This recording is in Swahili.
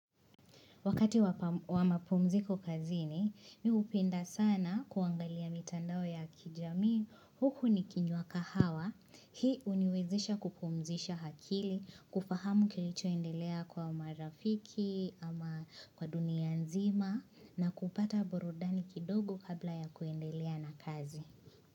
Wakati wa mapumziko kazini, mimi hupenda sana kuangalia mitandao ya kijamii, huku nikinywa kahawa, hii uniwezisha kupumzisha akili, kufahamu kilichoendelea kwa marafiki kwa dunia nzima, na kupata burudani kidogo kabla ya kuendelea na kazi.